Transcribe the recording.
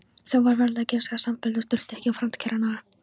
Þá varð kennsla samfelld og þurfti ekki farandkennara.